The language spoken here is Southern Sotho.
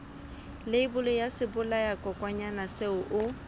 leibole ya sebolayakokwanyana seo o